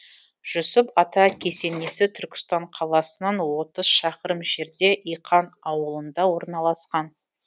жүсіп ата кесенесі түркістан қаласынан отыз шақырым жерде иқан аулында орналасқан